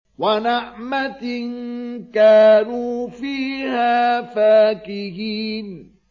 وَنَعْمَةٍ كَانُوا فِيهَا فَاكِهِينَ